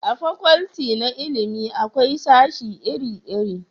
a fakwalti na ilimi akwai sashi iri iri